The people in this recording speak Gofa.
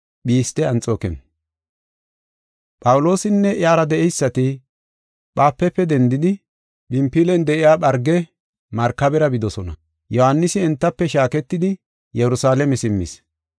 Phawuloosinne iyara de7eysati Phaafupe dendidi, Phinfilen de7iya Pharge markabera bidosona. Yohaanisi entafe shaaketidi Yerusalaame simmis.